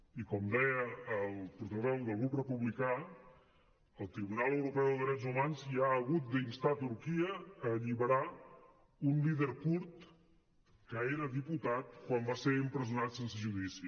i com deia el portaveu del grup republicà el tribunal europeu de drets humans ja ha hagut d’instar turquia a alliberar un líder kurd que era diputat quan va ser empresonat sense judici